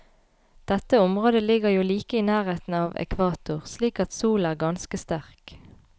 Dette området ligger jo like i nærheten av ekvator, slik at solen er ganske sterk.